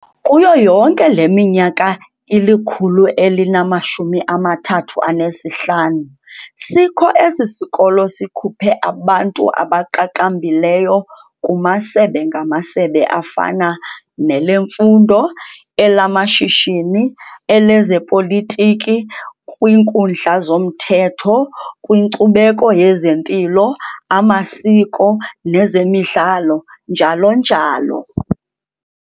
Kuyo yonke leminyaka ili-135 sikho esi sikolo, sikhuphe abantu abaqaqambileyo kumasebe-ngamasebe afana nelemfundo, elamashishini, elezopolitiki, kwiinkundla zomthetho, kwinkcubeko yezempilo, amasiko, nezemidlalo, njalo njalo.